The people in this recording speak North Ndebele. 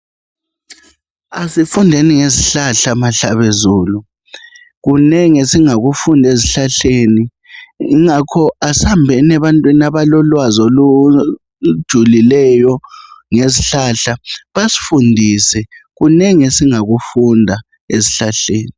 Asifundeni ngezihlahla mahlabezulu. Kunengi esingakufunda ezihlahleni. Kungakho asihambeni ebantwini abalolwazi olujulileyo ngezihlahla. Basifundise. Kunengi, esingakufunda ezihlahleni.